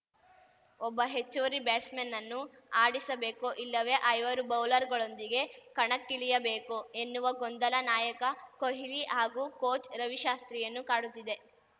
ಒಬ್ಬ ಹೆಚ್ಚುವರಿ ಬ್ಯಾಟ್ಸ್‌ಮನ್‌ನನ್ನು ಆಡಿಸಬೇಕೋ ಇಲ್ಲವೇ ಐವರು ಬೌಲರ್‌ಗಳೊಂದಿಗೆ ಕಣಕ್ಕಿಳಿಯಬೇಕೋ ಎನ್ನುವ ಗೊಂದಲ ನಾಯಕ ಕೊಹ್ಲಿ ಹಾಗೂ ಕೋಚ್‌ ರವಿಶಾಸ್ತ್ರಿಯನ್ನು ಕಾಡುತ್ತಿದೆ